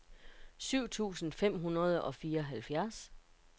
syv tusind fem hundrede og fireoghalvfjerds